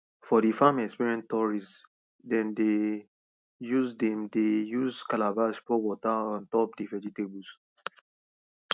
for the farm experience tourists dem dey use dem dey use calabash pour water on top d vegetables